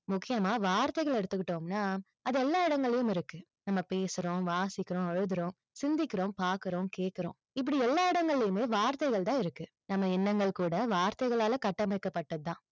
முக்கியமா வார்த்தைகளை எடுத்துக்கிட்டோம்னா, அது எல்லா இடங்களிலயும் இருக்கு. நம்ம பேசுறோம், வாசிக்கிறோம், அழுகுறோம், சிந்திக்கிறோம், பார்க்கிறோம், கேட்கிறோம். இப்படி எல்லா இடங்களிலயுமே வார்த்தைகள் தான் இருக்கு. நம்ம எண்ணங்கள் கூட வார்த்தைகளால கட்டமைக்கப்பட்டது தான்.